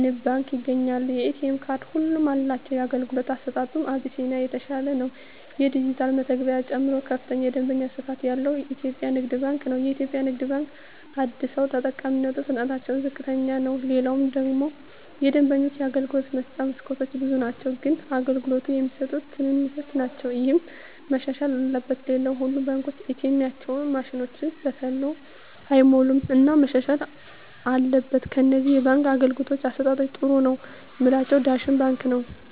ንብ ባንክ ይገኛሉ የኤ.ቴ ካርድ ሁሉም አላቸው የአገልግሎቱ አሰጣጡ አቢስኒያ የተሻለ ነው የዲጅታል መተግበሪያ ጨምሮ ከፍተኛ የደንበኛ ስፋት ያለው ኢትዮጵያ ንግድ ባንክ ነው የኢትዮጵያ ንግድ ባንክ አደሰው ተጠቃሚነቱ ፍጥነትታቸው ዝቅተኛ ነው ሌላው ደግሞ የደንበኞች የአገልግሎት መስጫ መስኮቶች ብዙ ናቸው ግን አገልግሎት የሚሰጡት ትንሾች ናቸው እሄ መሻሻል አለበት ሌላው ሁሉም ባንኮች ኤ. ቴኤማቸው ማሽኖች በተሎ አይሞሉም እና መሻሻል አትበል ከነዚህ የባንክ አገልግሎት አሠጣጣቸዉ ጥሩ ነው ምላቸውን ዳሽን ባንክን ነዉ